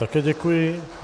Také děkuji.